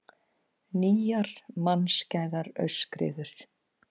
Nýjar mannskæðar aurskriður